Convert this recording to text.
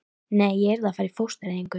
Nei, ég yrði að fara í fóstureyðingu.